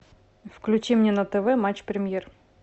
включи мне на тв матч премьер